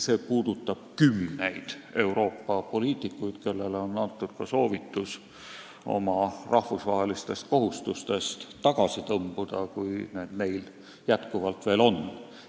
See puudutab kümneid Euroopa poliitikuid, kellele on antud ka soovitus oma rahvusvahelistest kohustustest tagasi tõmbuda, kui neil neid veel on.